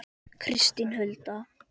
Kristín Hulda.